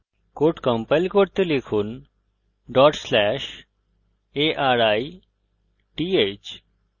code execute করতে লিখুন /arith